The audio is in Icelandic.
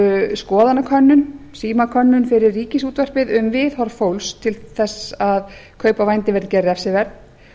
skoðanakönnun símakönnun fyrir ríkisútvarpið um viðhorf fólks til þess að kaup á vændi væru gerð refsiverð